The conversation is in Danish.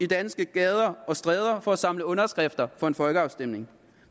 danske gader og stræder for at samle underskrifter for en folkeafstemning